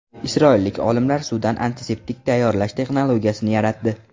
Isroillik olimlar suvdan antiseptik tayyorlash texnologiyasini yaratdi.